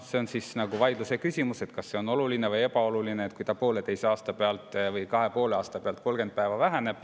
See on küll vaidlusküsimus, kas see on oluline või ebaoluline, kui see aeg pooleteise või kahe ja poole aasta pealt 30 päeva võrra väheneb.